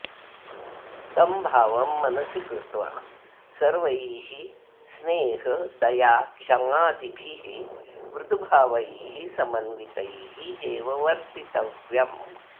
तं भावं मनसि कृत्वा सर्वैः स्नेहदयाक्षमादिभिः मुदुभावैः समन्वितैः एव वर्तितव्यम्